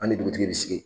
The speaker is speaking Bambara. An ni dugutigi bi sigi